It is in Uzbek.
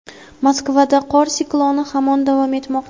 Moskvada qor sikloni hamon davom etmoqda.